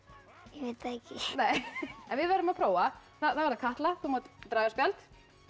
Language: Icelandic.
ég veit það ekki en við verðum að prófa þá það Katla þú mátt draga spjald